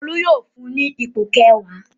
Olú yóò fún ní ipò kẹwàá.